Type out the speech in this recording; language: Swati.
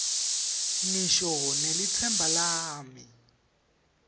ngisho nelitsemba lami